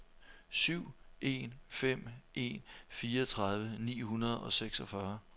syv en fem en fireogtredive ni hundrede og seksogfyrre